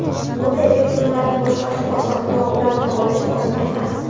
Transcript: Bunday elektronlarni boshqarish oson, biroq ularni olish oson emas.